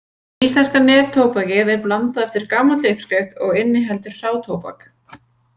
Íslenska neftóbakið er blandað eftir gamalli uppskrift og inniheldur hrátóbak.